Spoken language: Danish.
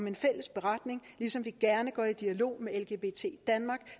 en fælles beretning ligesom vi gerne går i dialog med lgbt danmark